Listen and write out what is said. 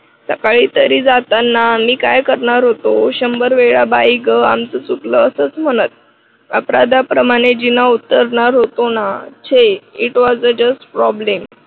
सकाळी तरी जाताना मी काय करणार होतो शंभर वेळा बाई ग आमचं चुकलं असंच म्हणत. अपराधाप्रमाणे जिना उतरणार होतो ना छे it was a just problem